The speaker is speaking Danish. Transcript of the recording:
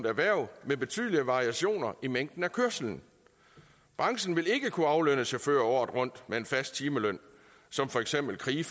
erhverv med betydelige variationer i mængden af kørsel branchen vil ikke kunne aflønne chauffører året rundt med en fast timeløn som for eksempel